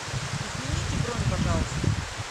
измените бронь пожалуйста